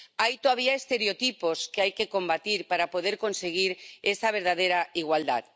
Hay todavía estereotipos que hay que combatir para poder conseguir esa verdadera igualdad.